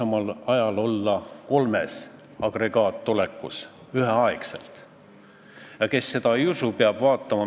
Aga ma tuletan meelde, et me oleme juba kolmel korral Riigikogus kümnekordistanud sunniraha määra ja mitte keegi ei ole siin saalis küsinud, kas me hakkame nüüd inimesi pankrotti viima.